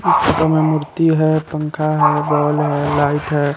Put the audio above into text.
पीछे में मूर्ति है पंखा है बॉल है लाइट है।